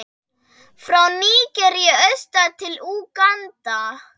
frá Nígeríu austur til Úganda.